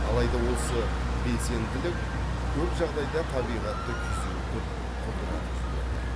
алайда осы белсенділік көп жағдайда табиғатты күйзелтіп құлдыратып жіберді